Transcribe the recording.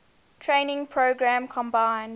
training program combined